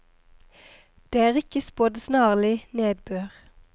Det er ikke spådd snarlig nedbør.